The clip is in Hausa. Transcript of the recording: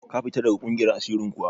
Ka fita daga ƙungiyar asirin kuwa?